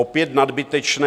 Opět nadbytečné.